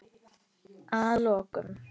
Að lokum.